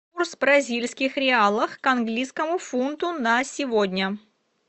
курс бразильских реалов к английскому фунту на сегодня